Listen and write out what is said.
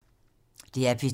DR P2